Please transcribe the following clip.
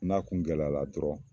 N'a kun gɛlɛyala dɔrɔn